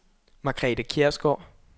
Margrethe Kjærsgaard